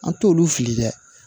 An t'olu fili dɛ